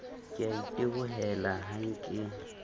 ke a itebohela ha ke